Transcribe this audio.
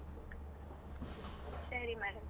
ಸರಿ madam.